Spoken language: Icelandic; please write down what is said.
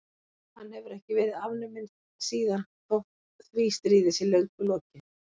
Hann hefur ekki verið afnuminn síðan þótt því stríði sé löngu lokið.